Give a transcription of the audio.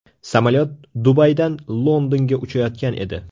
Samolyot Dubaydan Londonga uchayotgan edi.